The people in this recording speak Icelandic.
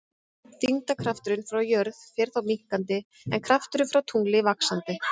Þyngdarkrafturinn frá jörð fer þá minnkandi en krafturinn frá tungli vaxandi.